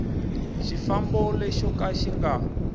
xifambo lexo ka xi nga